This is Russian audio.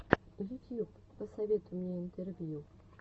ютьюб посоветуй мне интервью